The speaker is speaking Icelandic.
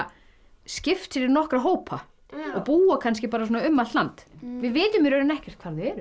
skipt sér í nokkra hópa og búa kannski um allt land við vitum í rauninni ekkert hvar þau eru